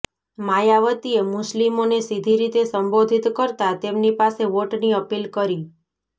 માયાવતીએ મુસ્લિમોને સીધી રીતે સંબોધિત કરતા તેમની પાસે વોટની અપીલ કરી